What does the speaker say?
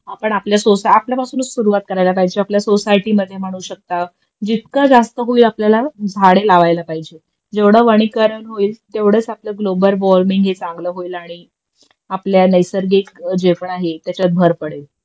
आपण आपल्या आपल्यापासूनच सुरुवात करायला पाहिजे आपल्या सोसायटी मध्ये म्हणू शकता जितका जास्त होईल आपल्याला झाडे लावायला पाहिजेत जेवढे वनीकरण होईल तेवढाच आपलं ग्लोबल वॉर्मिंग चांगलं होईल आणि आपल्या नैसर्गिक जे पण आहे त्याच्यात भर पडेल